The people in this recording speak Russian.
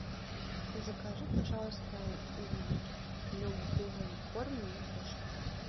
закажи пожалуйста любой корм для кошек